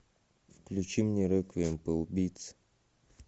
включи мне реквием по убийце